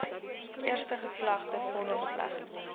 eerste geslaagde vonnisoplegging